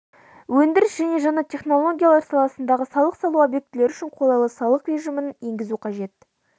өндіріс және жаңа технологиялар саласындағы салық салу объектілері үшін қолайлы салық режімін енгізу қажет